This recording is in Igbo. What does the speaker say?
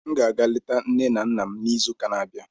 M ga-aga leta nne na nna m n'izuuka na-abịa.